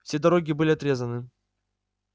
все дороги были отрезаны